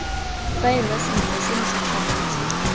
faelwa sentle seno se tshwanetse